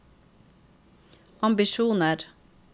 ambisjoner